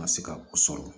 Ma se ka o sɔrɔ